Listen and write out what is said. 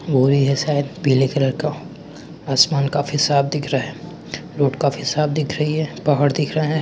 बोरी है शायद पीले कलर का। आसमान का हिसाब दिख रहा है। रोड काफी साफ़ दिख रही है पहाड़ दिख रहा है।